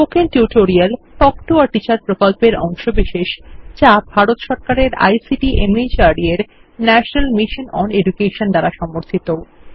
spoken tutorial talk to a teacher প্রকল্পের অংশবিশেষ যা ভারত সরকারের আইসিটি মাহর্দ এর ন্যাশনাল মিশন ওন এডুকেশন দ্বারা সমর্থিত